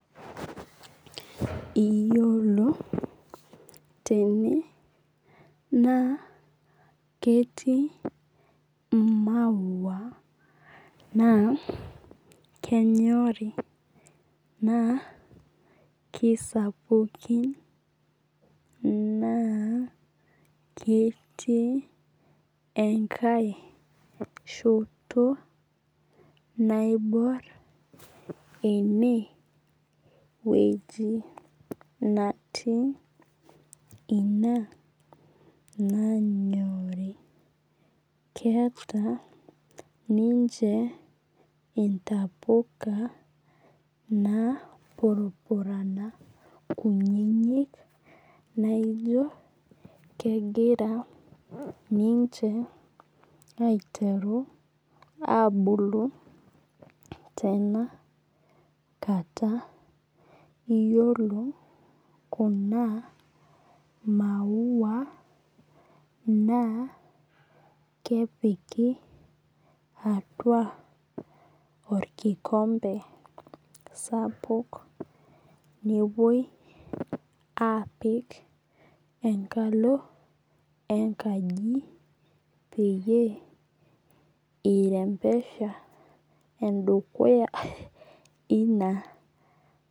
Iyiolo tene naa ketii i maua naa kenyorii naa kisapukin naa ketii nekae shoto naibor eneweji natii ina nanyorii. Keeta ninche intapuka napurupurani kunyinyik naijo kegira ninche aiteru abulu tenakata. Iyiolo kuna maua naa kepiki atua orkikombe sapuk nepuoi apik enkalo enkaji peyie i rembesha edukuya ina.